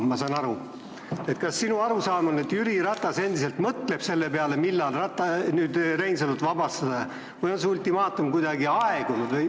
Ja minu küsimus sulle on, kas sinu arusaama järgi mõtleb Jüri Ratas endiselt selle peale, millal Reinsalu vabastada, või on see ultimaatum kuidagi aegunud.